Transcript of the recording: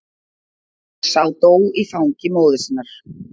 Sá dó í fangi móður sinnar.